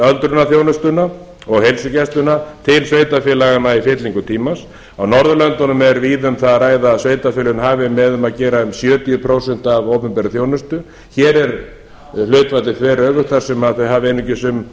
öldrunarþjónustuna og heilsugæsluna til sveitarfélaganna í fyllingu tímans á norðurlöndunum er víða um það að ræða að sveitarfélögin hafi með um að gera um sjötíu prósent af opinberri þjónustu hér er hlutfallið þveröfugt þar sem þau hafa einungis